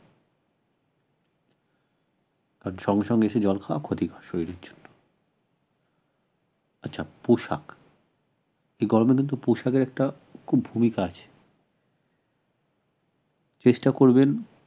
আর সঙ্গে সঙ্গে এসে জল খাওয়া ক্ষতিকর শরীরের জন্য আচ্ছা পোশাক গরমের কিন্তু পোশাকের একটা খুব ভূমিকা আছে চেষ্টা করবেন